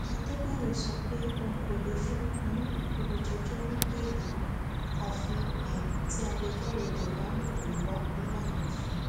àdèbàyò sọ pé òun kò lè fún um olùjẹjọ ní bẹẹlí àfi um tí agbẹjọrò rẹ bá mú ìwé wá nílànà òfin